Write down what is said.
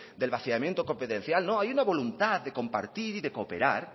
del vaciamiento competencial no hay una voluntad de compartir y de cooperar